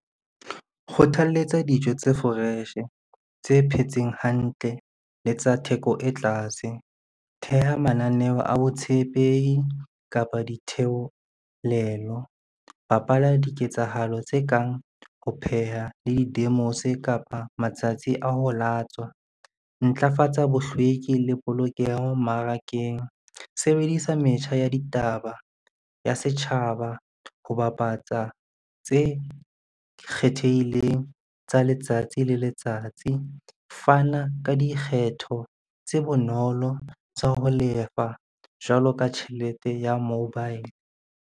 Kgothaletsa dijo tse fresh-e, tse phetseng hantle le tsa theko e tlase. Theha mananeho a botshepehi kapa ditheolelo. Bapala diketsahalo tse kang ho pheha le di-demos kapa matsatsi a ho latswa. Ntlafatsa bohlweki le polokeho mmarakeng. Sebedisa metjha ya ditaba ya setjhaba ho bapatsa tse kgethehileng tsa letsatsi le letsatsi. Fana ka dikgetho tse bonolo tsa ho lefa jwalo ka tjhelete ya mobile.